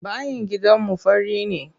Bayin gidanmu fari ne.